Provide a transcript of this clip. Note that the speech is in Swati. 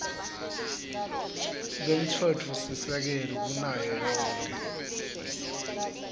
kwemtsetfosisekelo kunayo yonkhe